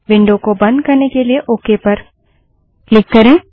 window को बंद करने के लिए ओके पर क्लिक करें